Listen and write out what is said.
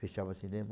Fechava o cinema.